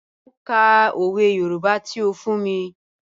Mọ̀ n kà ọwẹ̀ Yorùbá tí ó fún mí.